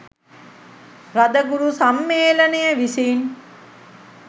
රදගුරු සම්මේලනය විසින්